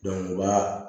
u ka